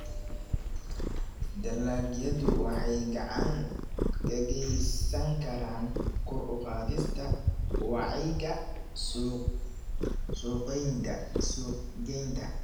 Dalagyadu waxay gacan ka geysan karaan kor u qaadista wacyiga suuqgeynta.